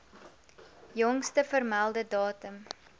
jongste vermelde datum